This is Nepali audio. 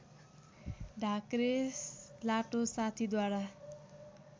ढाक्रे लाटो साथीद्वारा